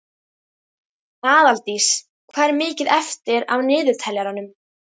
Aðaldís, hvað er mikið eftir af niðurteljaranum?